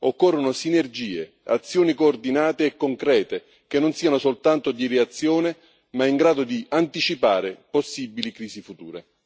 Occorrono sinergie, azioni coordinate e concrete, che non siano soltanto di reazione, ma in grado di anticipare possibili crisi future.